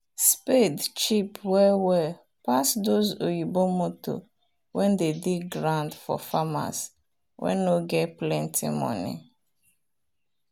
spade cheap well well pass those oyibo motor wen dey dig ground for farmers wen nor get plenty money